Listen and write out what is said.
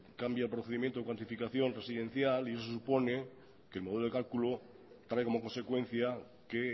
cambia el procedimiento de cuantificación residencial y eso supone que el modelo de cálculo trae como consecuencia que